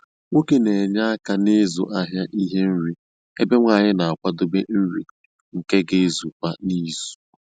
Nwoke n'enye aka n'ịzụ ahịa ihe nri, ebe Nwanyi na-akwadebe nri nke ga ezu kwa izu.